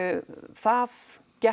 það gekk